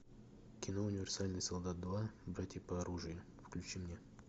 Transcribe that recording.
кино универсальный солдат два братья по оружию включи мне